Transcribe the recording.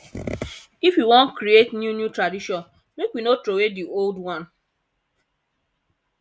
if we wan create new new tradition make we no troway di old one